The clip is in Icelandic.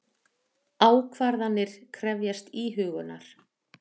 Ákvarðanir krefjast íhugunar.